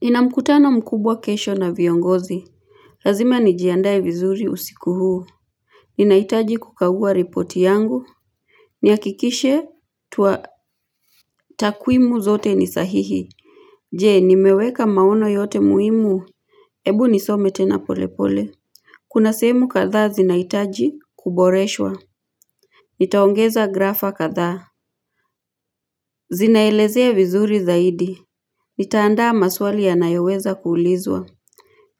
Nina mkutano mkubwa kesho na viongozi. Lazima nijiandaye vizuri usiku huu. Ninaitaji kukagua ripoti yangu. Niakikishe tua takwimu zote ni sahihi. Jee nimeweka maono yote muhimu. Ebu nisome tena pole pole. Kuna sehemu kadha zinaitaji kuboreshwa. Nitaongeza grafa kadha. Zinaelezea vizuri zaidi. Nitaandaa maswali yanayoweza kuulizwa.